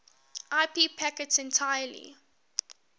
ip packets entirely